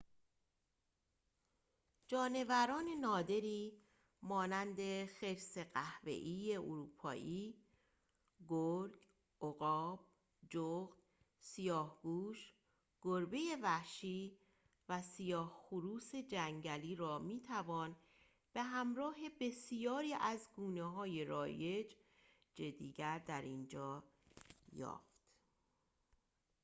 جانوران نادری مانند خرس قهوه‌ای اروپایی گرگ عقاب جغد سیاهگوش گربه وحشی و سیاه‌خروس جنگلی را می‌توان به‌همراه بسیاری از گونه‌های رایج دیگر در اینجا یافت